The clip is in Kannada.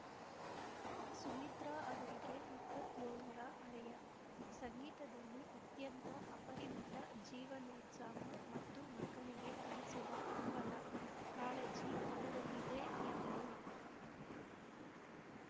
ಸುಮಿತ್ರಾ ಅವರಿಗೆ ಎಪ್ಪತ್ಯೋಳರ ಹರಯ ಸಂಗೀತದಲ್ಲಿ ಅತ್ಯಂತ ಅಪರಿಮಿತ ಜೀವನೋತ್ಸಾಹ ಮತ್ತು ಮಕ್ಕಳಿಗೆ ಕಲಿಸುವ ಹಂಬಲ ಕಾಳಜಿ ಅವರಲ್ಲಿದೆ ಎಂದರು